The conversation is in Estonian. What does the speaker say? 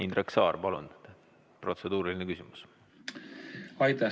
Indrek Saar, palun, protseduuriline küsimus!